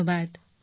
ধন্যবাদ